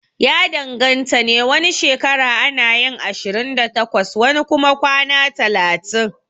Ya danganta ne, wani shekara anayin ashirin da takwas wani kuma kwana talatin